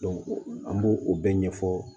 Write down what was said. an b'o o bɛɛ ɲɛfɔ